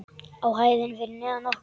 Á hæðinni fyrir neðan okkur.